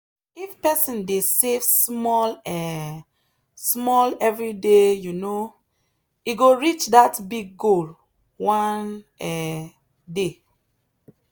if person dey save small um small every day um e go reach that big goal one um day.